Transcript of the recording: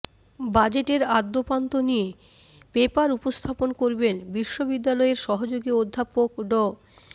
বাজেটের আদ্যোপান্ত নিয়ে পেপার উপস্থাপন করবেন বিশ্ববিদ্যালয়ের সহযোগি অধ্যাপক ড